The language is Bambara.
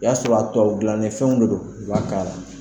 O y'a sɔrɔ a tubabu dilannen fɛn de don, u b'a k'a la